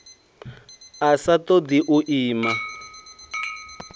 a sa ṱoḓi u ima